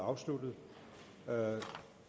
og fjorten og